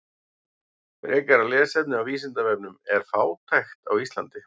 Frekara lesefni á Vísindavefnum: Er fátækt á Íslandi?